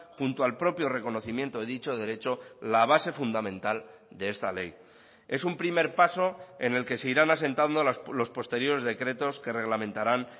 junto al propio reconocimiento de dicho derecho la base fundamental de esta ley es un primer paso en el que se irán asentando los posteriores decretos que reglamentarán